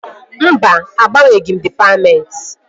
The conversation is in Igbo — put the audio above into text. Mba, agbanweghị m dịpatmentị